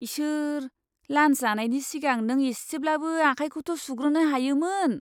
इसोर ! लान्स जानायनि सिगां नों एसेब्लाबो आखाइखौथ' सुग्रोनो हायोमोन।